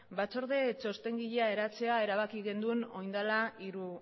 batzorde txostengilea eratzea erabaki genuen oin dela hiru